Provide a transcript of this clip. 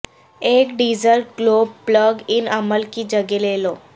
ایک diesel glow plug ان عمل کی جگہ لے لو